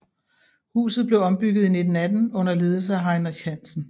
Huset blev ombygget i 1918 under ledelse af Heinrich Hansen